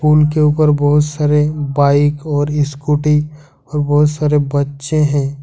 उनके ऊपर बहुत सारे बाइक और स्कूटी और बहुत सारे बच्चे हैं।